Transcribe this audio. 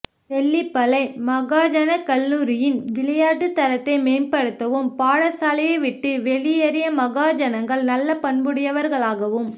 தெல்லிப்பளை மகாஜனக்கல்லூரியின் விளையாட்டு தரத்தை மேம்படுத்தவும் பாடசாலையை விட்டு வெளியேற்றிய மகாஜனன்கள் நல்ல பண்புடையவர்களாகவும்